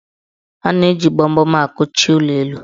A na-eji gbamgbam akụchi ụlọelu.